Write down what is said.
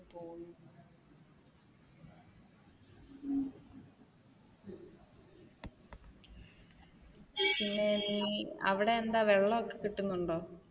അവിടെയെന്താ വെള്ളമൊക്കെ കിട്ടുന്നുണ്ടോ?